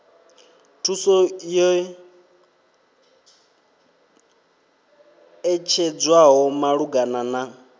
thuso yo ṋetshedzwaho malugana na